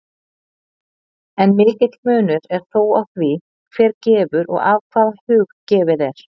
En mikill munur er þó á því, hver gefur og af hvaða hug gefið er.